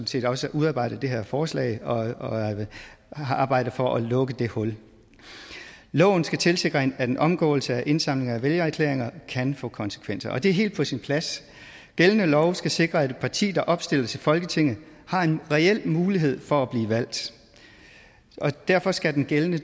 set også udarbejdet det her forslag og har arbejdet for at lukke det hul loven skal tilsikre at en omgåelse af indsamling af vælgererklæringer kan få konsekvenser og det er helt på sin plads gældende lov skal sikre at et parti der opstiller til folketinget har en reel mulighed for at blive valgt og derfor skal den gældende